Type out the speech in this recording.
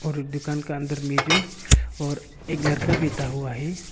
और दुकान के अंदर में जो और एक लड़का बैठा हुआ है।